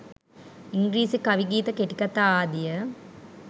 ඉංග්‍රීසි කවි ගීත කෙටිකතා ආදිය